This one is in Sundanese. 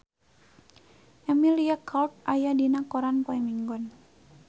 Emilia Clarke aya dina koran poe Minggon